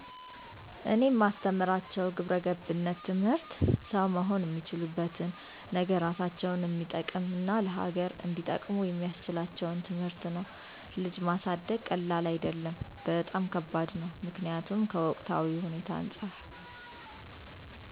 እኔ ማስተምራቸው ግብረገብነት ትምህርት ሠው መሆን እሚችሉበትን ነገ እራሳቸውን እሚጠቅም እና ለሀገር እንዲጠቅሙ የሚስችላቸውን ትምህርት። ልጅ ማሳደግ ቀላል አደለም በጣም ከባድ ነው ምክኒያቱም ከወቅታዊ ሁኔታው አንፃር